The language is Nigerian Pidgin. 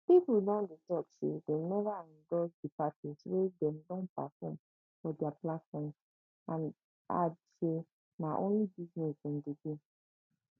pipo don dey tok say dem neva wey dem don perform for dia platforms and add say na only business dem do